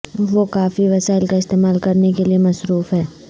وہ کافی وسائل کا استعمال کرنے کے لئے مصروف ہیں